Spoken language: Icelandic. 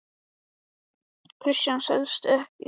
Kristján: Selst þetta vel?